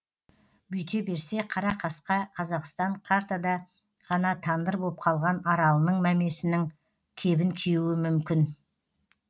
бүйте берсе қара қасқа қазақстан картада ғана тандыр боп қалған аралының мәмесінің кебін киюі мүмкін